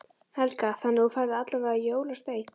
Helga: Þannig að þú færð allavega jólasteik?